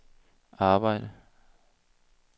arbejde